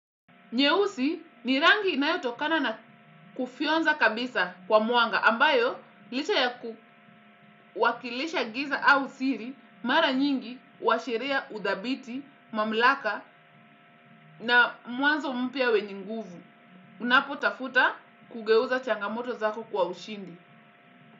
Nyeusi ni rangi inayotokana na kufyonza kabisa kwa mwanga ambayo licha ya kuwakilisha giza au siri mara nyingi huashiria udhabiti, mamlaka na mwanzo mpya wenye nguvu. Unapotafuta kugeuza changamoto zako kwa ushindi.